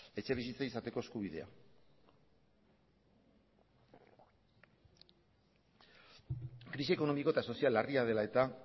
etxebizitza izateko eskubidea krisi ekonomiko eta sozial larria dela eta